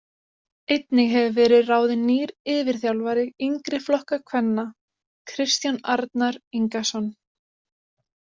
Einnig hefur verið ráðin nýr yfirþjálfari yngri flokka kvenna Kristján Arnar Ingason.